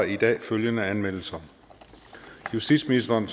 i dag følgende anmeldelser justitsministeren